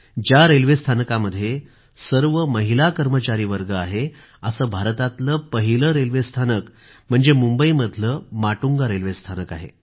ज्या रेल्वे स्थानकामध्ये सर्व महिला कर्मचारीवर्ग आहे असं भारतातलं पहिलं रेल्वे स्थानक म्हणजे मुंबईमधलं माटुंगा रेल्वेस्थानक आहे